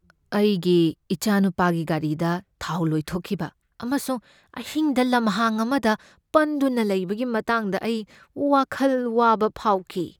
ꯑꯩꯒꯤ ꯏꯆꯥꯅꯨꯄꯥꯒꯤ ꯒꯥꯔꯤꯗ ꯊꯥꯎ ꯂꯣꯏꯊꯣꯛꯈꯤꯕ ꯑꯃꯁꯨꯡ ꯑꯍꯤꯡꯗ ꯂꯝꯍꯥꯡ ꯑꯃꯗ ꯄꯟꯗꯨꯅ ꯂꯩꯕꯒꯤ ꯃꯇꯥꯡꯗ ꯑꯩ ꯋꯥꯈꯜ ꯋꯥꯕ ꯐꯥꯎꯈꯤ꯫